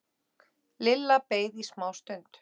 Lilla beið í smástund.